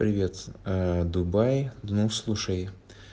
привет-с ээ думай ну слушай